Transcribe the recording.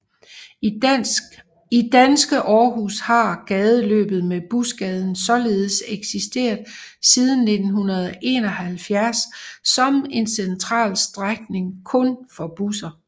I danske Aarhus har gadeforløbet med Busgaden således eksisteret siden 1971 som en central strækning kun for busser